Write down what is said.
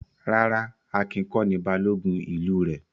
Rárá, Akin kọ́ ni Balógun ìlú rẹ̀.